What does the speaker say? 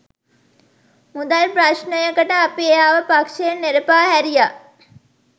මුදල් ප්‍රශ්නයකට අපි එයාව පක්ෂයෙන් නෙරපා හැරියා